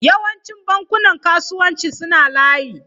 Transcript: Yawancin bankunan kasuwanci suna layi.